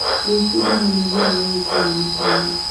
Gwĩbundithia nĩ njĩra ya gũkinyĩra matanya.